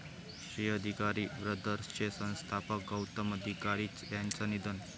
'श्री अधिकारी ब्रदर्स'चे संस्थापक गौतम अधिकारी यांचं निधन